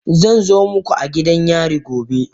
Zan zo muku a gidan yari gobe.